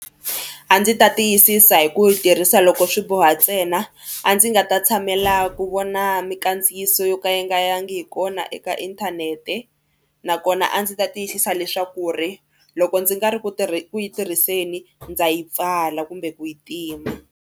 A ndzi ta tiyisisa hi ku yi tirhisa loko swi boha ntsena a ndzi nga ta tshamela ku vona mikandziyiso yo ka yi nga yangi hi kona eka inthanete nakona a ndzi ta tiyisisa leswaku ri loko ndzi nga ri ku tirhiseni ndza yi pfala kumbe ku yi tima.